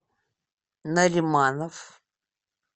нариманов